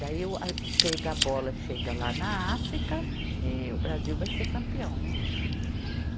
Daí o, a chega, a bola chega lá na África e o Brasil vai ser campeão, né?